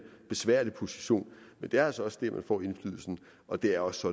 besværlig position men det er altså også der man får indflydelsen og det er også